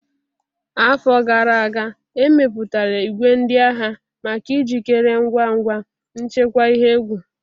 Afọ gara aga, e mepụtara igwe ndị agha maka ijikere ngwa ngwa nchekwa ihe egwu.